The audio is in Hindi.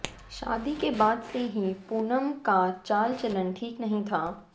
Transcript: शादी के बाद से ही पूनम का चाल चलन ठीक नही था